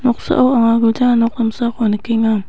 noksao anga gilja nok damsako nikenga.